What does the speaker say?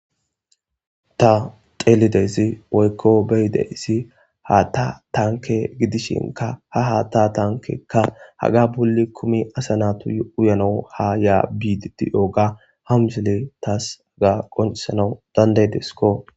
Ta xeelizayssi woykko be7idayissi ha ta tanke gidishinka ha ha ta tankekka haga bulli kumi asanatuy uyano ha yaa bididiyooga hamsele taas aga qoncisanau dandaydesko.